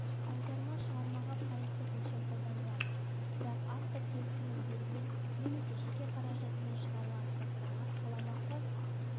аударма шығармаға пайыздық өлшем қолданылады бірақ автор келісімін берген немесе жеке қаражатымен шығарылатын кітаптарға қаламақы